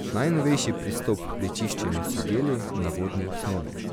Najnovejši pristop pri čiščenju so geli na vodni osnovi.